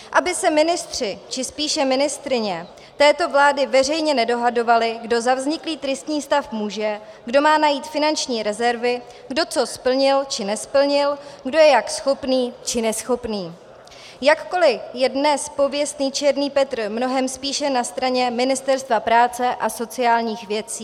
Aby se ministři či spíše ministryně této vlády veřejně nedohadovali, kdo za vzniklý tristní stav může, kdo má najít finanční rezervy, kdo co splnil, co nesplnil, kdo je jak schopný či neschopný, jakkoliv je dnes pověstný černý Petr mnohem spíše na straně Ministerstva práce a sociálních věcí.